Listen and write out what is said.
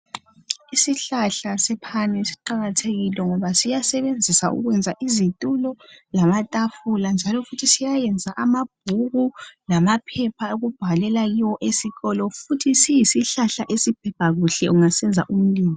Isihlahla sephani siqakathekile ngoba siyayenza izitulo lamatafula njalo futhi siyayenza amabhuku lamaphepha okubhalela kuwo ezikolo, njalo siyisihlahla ongasibasa ukuyenza umlilo.